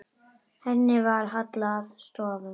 Henni var hallað að stöfum.